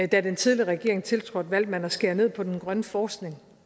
da den tidligere regering tiltrådte valgte man at skære ned på den grønne forskning